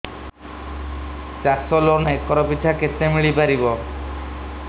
ଚାଷ loan acre ପିଛା କେତେ ମିଳି ପାରିବ